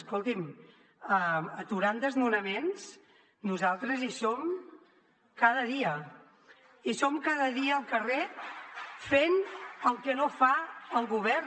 escolti’m aturant desnonaments nosaltres hi som cada dia i som cada dia al carrer fent el que no fa el govern